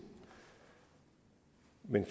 men